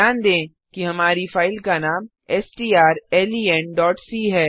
ध्यान दें कि हमारी फाइल का नाम strlenसी